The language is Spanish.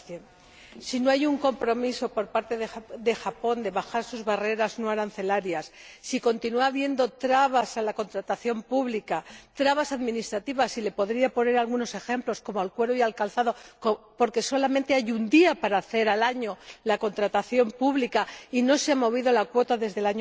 30 Si no hay un compromiso por parte de Japón de bajar sus barreras no arancelarias, si continúa habiendo trabas a la contratación pública, trabas administrativas y le podría poner algunos ejemplos, como los relativos al cuero y al calzado porque solamente hay un día al año para hacer la contratación pública y no se ha movido la cuota desde